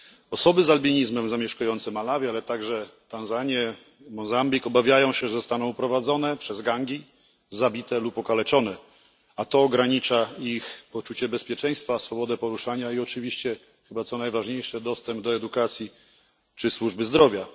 Osoby z albinizmem zamieszkujące Malawi ale także Tanzanię, Mozambik obawiają się, że zostaną uprowadzone przez gangi, zabite lub okaleczone, a to ogranicza ich poczucie bezpieczeństwa, swobodę poruszania i oczywiście co chyba najważniejsze dostęp do edukacji czy służby zdrowia.